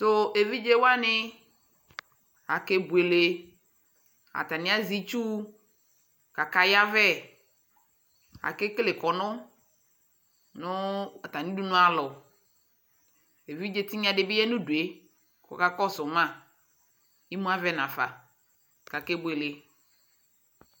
eviɖʒe wani ake bloele atani aʒɛ itchu k'aya vɛ ake kele kɔnu nu ata mi udonu alɔ evidƶe tiŋa ɖi bi ya nu due kɔ ka su ma imu avɛ nafa do ake boele